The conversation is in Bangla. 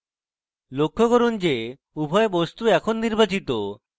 লক্ষ্য করুন যে উভয় বস্তু এখন নির্বাচিত